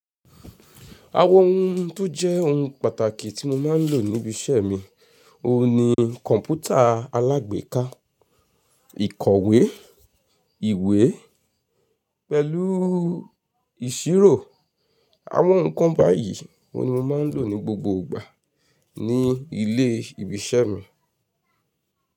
Àwọn ohun tó jẹ́ ohun pàtàkì tí mo máa ń lò ní ibi iṣẹ́ mi, òun ni kọ̀mpútà alágbèéká, ìkọ̀wé, ìwé pẹ̀lú ìṣirò. Àwọn nǹkan báyìí oun ni mo máa ń lò ní gbogbo ìgbà ní ilé ibi iṣẹ́ mi.